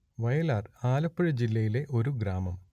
വയലാർ ആലപ്പുഴ ജില്ലയിലെ ഒരു ഗ്രാമം